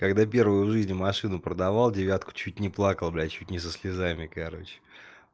когда первую в жизнь машину продавал девятку чуть не плакал блять чуть не со слезами короче